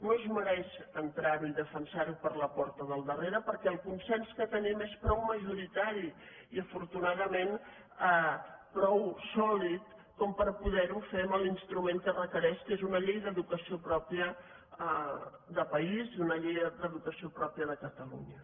no es mereix entrar·ho i defensar·ho per la porta del darrere perquè el consens que tenim és prou majoritari i afortu·nadament prou sòlid per poder·ho fer amb l’instrument que requereix que és una llei d’educació pròpia de país i una llei d’educació pròpia de catalunya